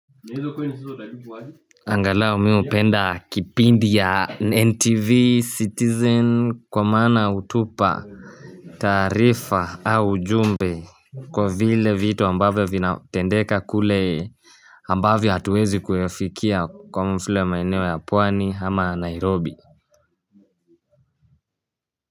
Angalau mimi hupenda kipindi ya ntv, citizen kwa maana hutupa taarifa au jumbe kwa vile vitu ambavyo vinatendeka kule ambavyo hatuwezi kuyafikia kama vile ya maeneo ya pwani ama Nairobi.